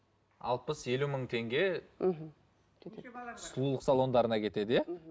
алпыс елу мың теңге мхм кетеді сұлулық салондарына кетеді иә